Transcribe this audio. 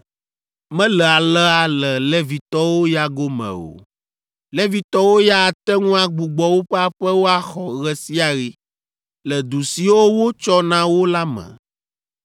“ ‘Mele alea le Levitɔwo ya gome o. Levitɔwo ya ate ŋu agbugbɔ woƒe aƒewo axɔ ɣe sia ɣi, le du siwo wotsɔ na wo la me,